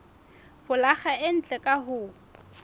folaga e ntle ka ho